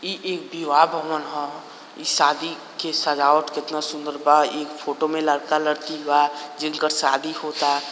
ई एक विवाह भवन ह ई शादी की सजावट कितना सुंदर बा एक फोटो में लड़का-लड़की बा जिनका शादी होता।